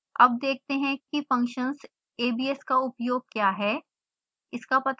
अब देखते हैं कि फंक्शन्स abs का उपयोग क्या है